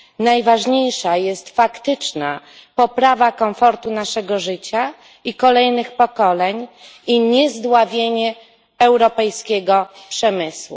Najważniejsza jest faktyczna poprawa komfortu naszego życia i kolejnych pokoleń i niezdławienie europejskiego przemysłu.